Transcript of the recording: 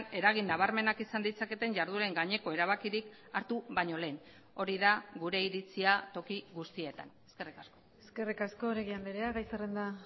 eragin nabarmenak izan ditzaketen jardueren gaineko erabakirik hartu baino lehen hori da gure iritzia toki guztietan eskerrik asko eskerrik asko oregi andrea gai zerrenda